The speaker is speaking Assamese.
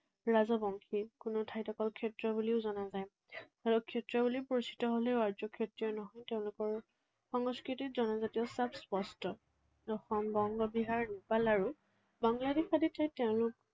ৰাজবংশী। কোনো ঠাইত অকল ক্ষত্ৰিয় বুলিও জনা যায়। ক্ষত্ৰিয় বুলি পৰিচিত হলেও আৰ্য ক্ষত্ৰিয় নহয়। তেওঁলোকৰ সংস্কৃতিত জনজাতীয় চাপ স্পষ্ট। অসম, বংগ, বিহাৰ, নেপাল আৰু বাংলাদেশ আদি ঠাইত তেওঁলোক